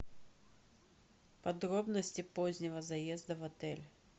подробности позднего заезда в отель